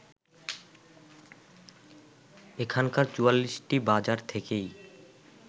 এখানকার ৪৪টি বাজার থেকেই